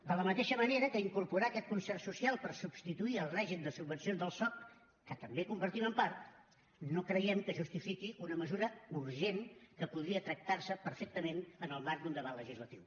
de la mateixa manera que incorporar aquest concert social per substituir el règim de subvencions del soc que també compartim en part no creiem que justifiqui una mesura urgent que podria tractarse perfectament en el marc d’un debat legislatiu